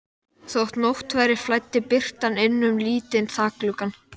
Þótt nótt væri flæddi birtan inn um lítinn þakgluggann.